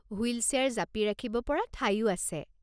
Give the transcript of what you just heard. Wheel chair জাপি ৰাখিব পৰা ঠাইও আছে।